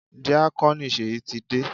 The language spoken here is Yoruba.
Díákónì Ṣèyí ti dé.